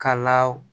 Ka law